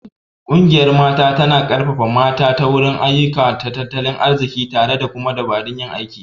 Ƙungiyar Mata tana ƙarfafa mata ta wurin ayyuka na tattalin arziki tare da kuma dabarun yin aiki..